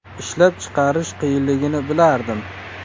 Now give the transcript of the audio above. Ishlab chiqarish qiyinligini bilardim.